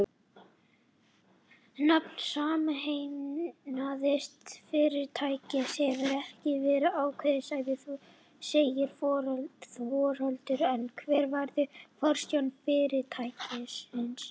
Nafn sameinaðs fyrirtækis hefur ekki verið ákveðið segir Þorvaldur en hver verður forstjóri fyrirtækisins?